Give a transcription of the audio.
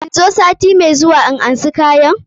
In zo sati mai zuwa na karɓi kayan?